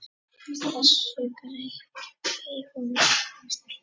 Þessu breytti hún.